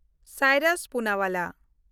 Cyrus Poonawalla